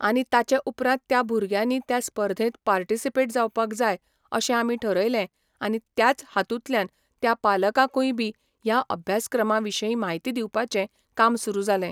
आनी ताचे उपरांत त्या भुरग्यांनी त्या स्पर्धेंत पार्टिसिपेट जावपाक जाय अशें आमी ठरयलें आनी त्याच हातुंतल्यान त्या पालकांकूय बी ह्या अभ्यासक्रमा विशयी म्हायती दिवपाचें काम सुरू जालें